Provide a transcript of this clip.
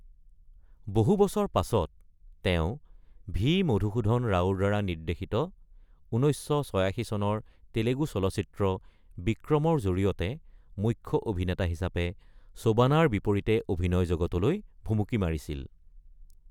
বহু বছৰ পাছত, তেওঁ ভি মধুসূদন ৰাওৰ দ্বাৰা নিৰ্দ্দেশিত ১৯৮৬ চনৰ তেলেগু চলচ্চিত্ৰ বিক্ৰমৰ জৰিয়তে মুখ্য অভিনেতা হিচাপে সোবানাৰ বিপৰীতে অভিনয় জগতলৈ ভুমুকি মাৰিছিল।